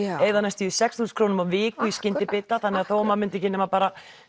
eyða næstum því sex þúsund krónum á viku í skyndibita þannig að þó að maður myndi ekki nema bara